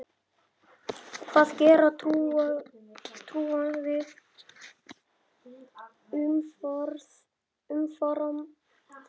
Hvað gera trúaðir umfram aðra?